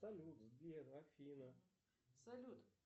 салют сбер афина салют